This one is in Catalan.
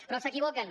però s’equivoquen